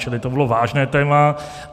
Čili to bylo vážné téma.